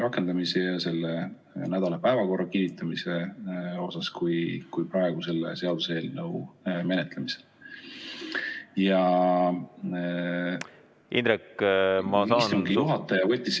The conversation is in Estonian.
... rakendamise ja selle nädala päevakorra kinnitamise osas, kui praegu selle seaduseelnõu menetlemisel.